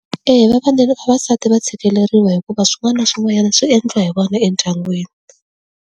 Eya vavasati va tshikeleriwa hikuva swin'wana na swin'wanyana swi endliwa hi vona endyangwini.